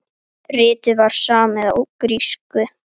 Ritið var samið á grísku.